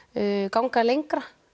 ganga lengra